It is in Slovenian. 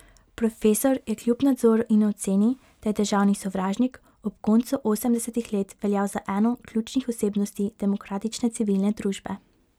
Profesor je kljub nadzoru in oceni, da je državni sovražnik, ob koncu osemdesetih let veljal za eno ključnih osebnosti demokratične civilne družbe.